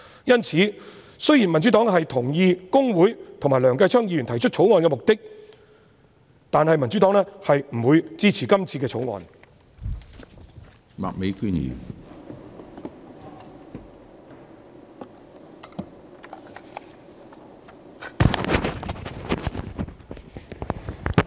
因此，雖然民主黨同意公會和梁繼昌議員提出《條例草案》的目的，但不會支持《條例草案》。